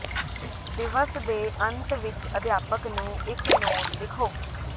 ਦਿਵਸ ਦੇ ਅੰਤ ਵਿਚ ਅਧਿਆਪਕ ਨੂੰ ਇਕ ਨੋਟ ਲਿਖੋ